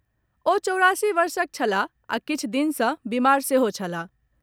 ओ चौरासी वर्षक छलाह आ किछु दिन सँ बीमार सेहो छलाह।